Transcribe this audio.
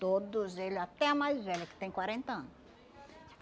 Todos ele até a mais velha que tem quarenta ano